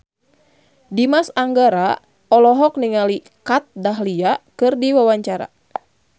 Dimas Anggara olohok ningali Kat Dahlia keur diwawancara